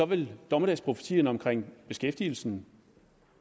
vil dommedagsprofetierne omkring beskæftigelsen